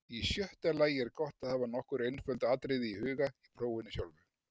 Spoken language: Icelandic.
Í sjötta lagi er gott að hafa nokkur einföld atriði í huga í prófinu sjálfu.